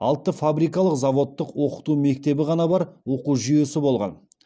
алты фабрикалық заводтық оқыту мектебі ғана бар оқу жүйесі болған